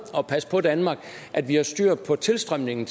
at passe på danmark at vi har styr på tilstrømningen